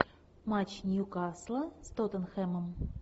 матч ньюкасла с тоттенхэмом